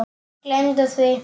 Gleymdu því!